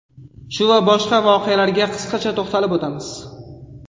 Shu va boshqa voqealarga qisqacha to‘xtalib o‘tamiz.